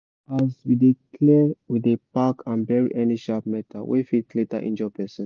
as we dey clear we dey pack and bury any sharp metal wey fit later injure person